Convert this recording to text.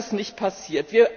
Das ist nicht passiert.